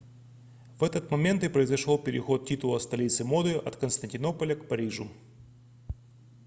в этот момент и произошел переход титула столицы моды от константинополя к парижу